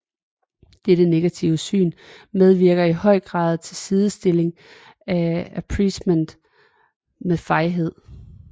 Dette negative syn medvirker i høj grad til sidestillingen af appeasement med fejhed